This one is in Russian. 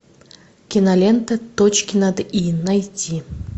кинолента точки над и найти